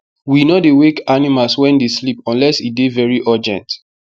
wen no dey wake animals wen dey sleep unless e dey very urgent